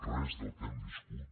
res del que hem viscut